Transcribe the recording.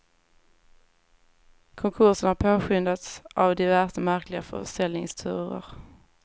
Konkursen har påskyndats av diverse märkliga försäljningsturer.